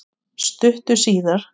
Stuttu síðar